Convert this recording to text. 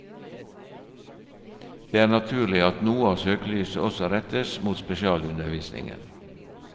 Det er naturlig at noe av søkelyset også rettes mot spesialundervisningen.